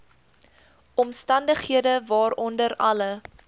omstandighede waaronder alle